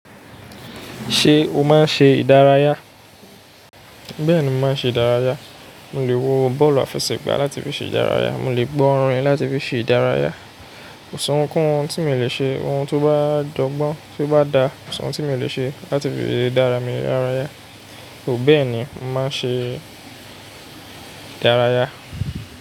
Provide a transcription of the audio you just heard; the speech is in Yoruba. Ṣé o máa ń ṣe ìdárayá? Bẹ́ẹ̀ni, mo máa ń ṣe ìdárayá. Mo lè wo bọ́ọ̀lù àfẹsẹ̀gbá láti fi ṣe ìdárayá. Mo lè gbọ́ orin láti fi ṣe ìdárayá. Ko si ohunkun tí mo le ṣe, ohun tó bá dọ́gbọ́n, tó bá dáa, kosi ohun tí mo le ṣe láti fi dára mi lara yá, ò bẹ́ẹ̀ ni, mo máa ń ṣe ìdárayá.